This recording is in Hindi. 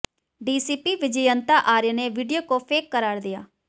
डीसीपी विजयंता आर्य ने वीडियो को फेक करार दिया